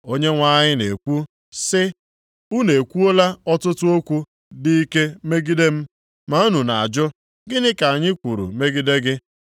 Onyenwe anyị na-ekwu, sị, “Unu ekwuola ọtụtụ okwu dị ike megide m.” “Ma unu na-ajụ, ‘Gịnị ka anyị kwuru megide gị?’